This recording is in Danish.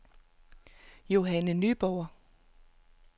Johanne Nyborg